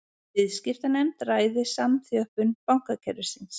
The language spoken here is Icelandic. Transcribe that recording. Viðskiptanefnd ræði samþjöppun bankakerfisins